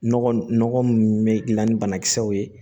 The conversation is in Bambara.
Nɔgɔ nɔgɔ mun bɛ dilan ni banakisɛw ye